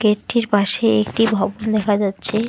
গেটটির পাশে একটি ভবন দেখা যাচ্ছে।